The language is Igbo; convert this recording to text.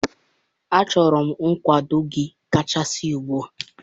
Achọrọ m nkwado gị kachasị ugbu a